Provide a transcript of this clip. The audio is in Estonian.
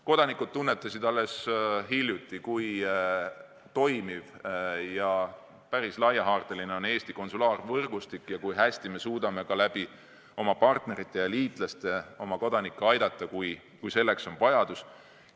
Kodanikud tunnetasid alles hiljuti, kui toimiv ja päris laiahaardeline on Eesti konsulaarvõrgustik ja kui hästi me suudame ka oma partnerite ja liitlaste abil oma kodanikke aidata, kui selleks on vajadus.